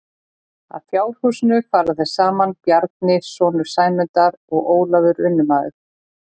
Að fjárhúsinu fara þeir saman Bjarni sonur Sæmundar og Ólafur vinnumaður.